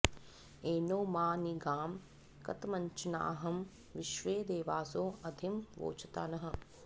एनो॒ मा नि गां॑ कत॒मच्च॒नाहं विश्वे॑ देवासो॒ अधि॑ वोचता नः